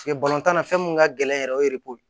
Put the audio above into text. tan na fɛn mun ka gɛlɛn yɛrɛ o ye ye